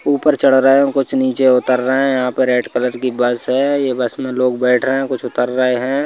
ऊपर चढ़ रहे हैं कुछ नीचे उतर रहे हैं यहां पर रेड कलर की बस है ये बस में लोग बैठ रहे हैं कुछ उतर रहे हैं।